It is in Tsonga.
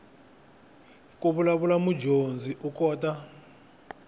ku vulavula mudyondzi u kota